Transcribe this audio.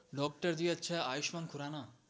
docterg અચ્છા આયુષ્માન ખુરાના